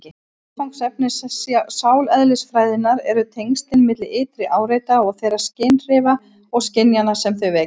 Viðfangsefni sáleðlisfræðinnar eru tengslin milli ytri áreita og þeirra skynhrifa og skynjana sem þau vekja.